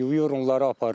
Yuyur onları aparır.